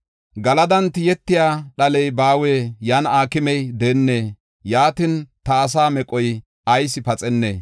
Galadan tiyetiya dhaley baawee? Yan aakimey deennee? Yaatin, ta asaa meqoy ayis paxennee?